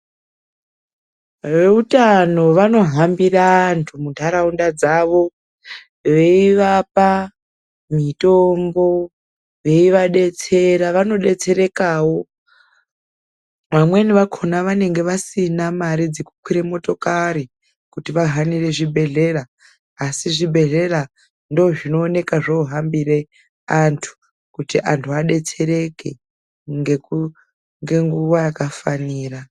Veutano vanohambira antuu mundaraunda dzavo veivapa mitombo , veiva detsera vanosetserekawo. Vamweni vacho vanenge vasina mari dzekukwira motokari kuti vahanira zvibhedhlera ,asi zvibhedhlera ndozvinooneka zvakuhambira antu kuti adetsereke nge nguva yakafanira.